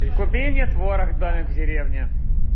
купи мне творог домик в деревне